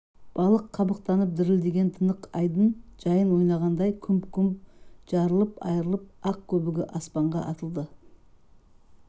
балық қабықтанып дірілдеген тынық айдын жайын ойнағандай күмп-күмп жарылып-айрылып ақ көбігі аспанға атылды